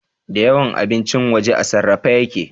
Da yawan abincin waje a sarrafe yake